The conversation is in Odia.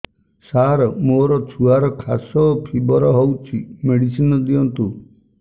ସାର ମୋର ଛୁଆର ଖାସ ଓ ଫିବର ହଉଚି ମେଡିସିନ ଦିଅନ୍ତୁ